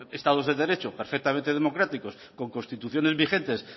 estados de derecho perfectamente democráticos con constituciones vigentes